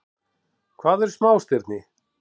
Hvað eru smástirni?